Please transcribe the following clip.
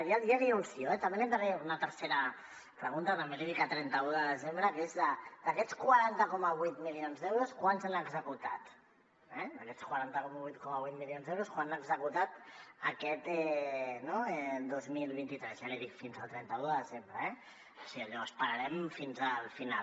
ja l’hi anuncio eh també li entraré una tercera pregunta també l’hi dic a trenta un de desembre què és d’aquests quaranta coma vuit milions d’euros quants se n’han executat d’aquests quaranta coma vuit milions d’euros quants n’ha executat aquest dos mil vint tres ja l’hi dic fins al trenta un de desembre eh o sigui allò esperarem fins al final